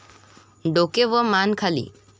डोके व मान खाली.